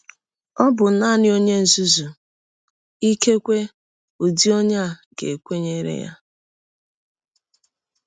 Ọ bụ nanị ọnye nzuzu — ikekwe ụdị ọnye a — ga - ekwenyere ya. ”